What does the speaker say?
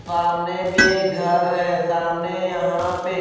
सामने भी एक घर है सामने यहां पे--